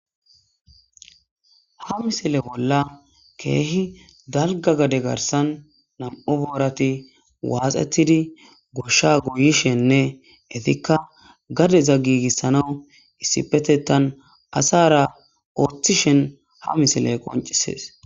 Ha misile bolla keehi dalga gade garsan nam'u boorati waaxetidi goshsha goyishenne etikka gadeza giigissana issipetetan asara ooththishen ha misile qoncisees.